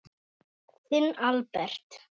Þinn Albert.